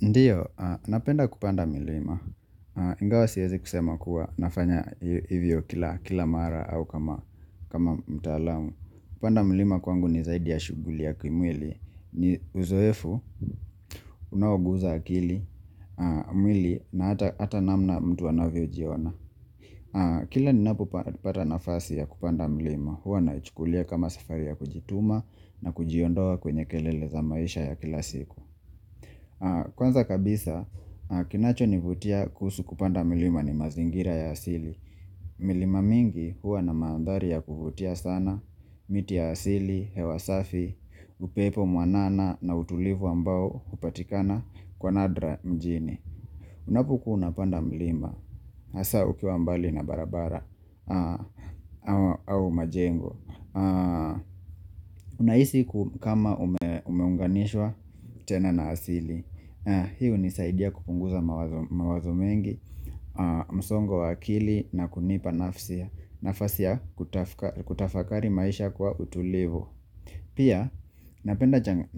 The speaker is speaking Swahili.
Ndio napenda kupanda milima ingawa siwezi kusema kuwa nafanya hivyo kila mara au kama mtaalamu Kupanda mlima kwangu ni zaidi ya shughuli ya kimwili ni uzoefu unaoguza akili mwili na hata namna mtu anavyojiona Kila ninapopata nafasi ya kupanda mlima huwa naichukulia kama safari ya kujituma na kujiondoa kwenye kelele za maisha ya kila siku Kwanza kabisa kinachonivutia kuhusu kupanda mlima ni mazingira ya asili milima mingi huwa na mandhari ya kuvutia sana miti ya asili hewa safi upepo mwanana na utulivu ambao hupatikana kwa nadra mjini Unapokuwa unapanda mlima hasa ukiwa mbali na barabara au majengo Unahisi kama umeunganishwa tena na asili hii hunisaidia kupunguza mawazo mengi msongo wa akili na kunipa nafsi nafasi ya kutafakari maisha kwa utulivu Pia